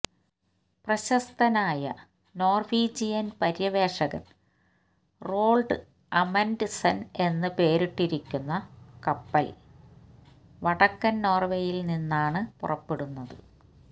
പ്രശസ്തനായ നോർവീജിയൻ പര്യവേഷകൻ Roald Amundsen എന്ന് പേരിട്ടിരിക്കുന്ന കപ്പൽ വടക്കൻ നോർവേയിൽ നിന്നാണ് പുറപ്പെടുന്നത്